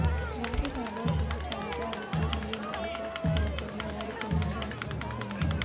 జాబితాలో చిరస్థాయిగా ఉత్తీర్ణులు మరియు ప్రేక్షకుల ప్రేమ ఓడిపోయింది ఆ చిత్రాలు ఉన్నాయి